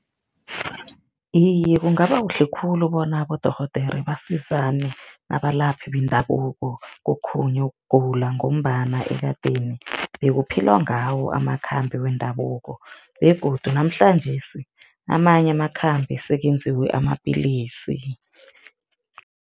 Iye, kungaba kuhle khulu bona abodorhodera basizane nabalaphi bendabuko kokhunye ukugula ngombana ekadeni bekuphilwa ngawo amakhambi wendabuko begodu namhlanjesi amanye amakhambi sekenziwe amapillisi.